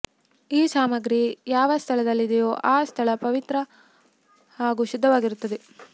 ಈ ಸಾಮಗ್ರಿ ಯಾವ ಸ್ಥಳದಲ್ಲಿದೆಯೋ ಆ ಸ್ಥಳ ಪವಿತ್ರ ಹಾಗೂ ಶುದ್ಧವಾಗಿರುತ್ತದೆ